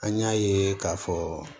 An y'a ye k'a fɔ